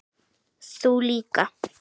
Þú líka?